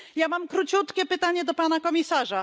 Mam króciutkie pytanie do pana komisarza.